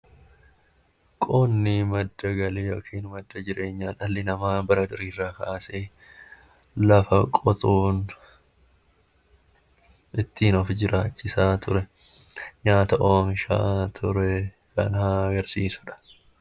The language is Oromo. Qonni madda galii dhalli namaa bara durii iraa kaasee lafa qotuun ittiin of jiraachisaa ture nyaata oomishaa ture kan agarsiisuudha.